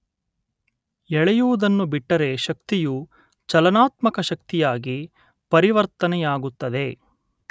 ಎಳೆಯುವುದನ್ನು ಬಿಟ್ಟರೆ ಶಕ್ತಿಯು ಚಲನಾತ್ಮಕ ಶಕ್ತಿಯಾಗಿ ಪರಿವರ್ತನೆಯಾಗುತ್ತದೆ.